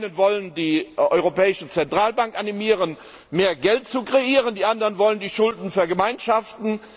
Die einen wollen die Europäische Zentralbank animieren, mehr Geld zu kreieren, die anderen wollen die Schulden vergemeinschaften.